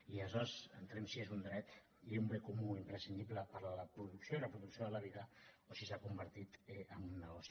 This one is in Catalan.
i aleshores entrem en si és un dret i un bé comú imprescindible per a la producció i reproducció de la vida o si s’ha convertit en un negoci